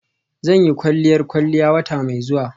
Zan yi kwalliyar kwalliya wata mai zuwa.